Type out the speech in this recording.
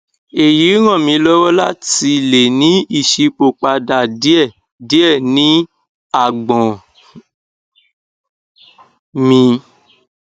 èyí ràn mí lọwọ láti lè ní ìṣípòpadà díẹ díẹ ní àgbọn mi